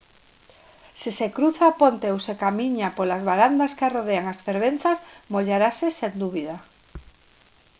se se cruza a ponte ou se camiña polas varandas que arrodean as fervenzas mollarase sen dúbida